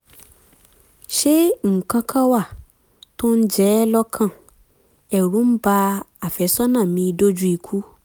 ṣé nǹkan kan wà tó ń jẹ ẹ́ lọ́kàn? ẹ̀rù ń ba àfẹ́sọ́nà mi dójú ikú